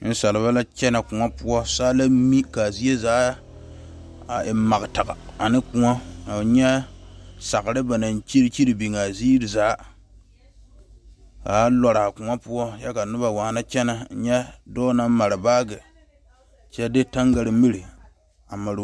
Nensaalba la kyɛne koɔ poɔ, saa la mi kaa zie zaa a e magtaga ane koɔ kɔɔ nyɛ sagere ba naŋ kyire kyire biŋ a ziiri zaa kaa lɔɔre a koɔ poɔ kyɛ ka waana kyɛne, nyɛ dɔɔ na mare baage kyɛ de tangare miri a mare a tooreŋ